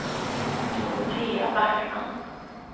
Dorotea Backman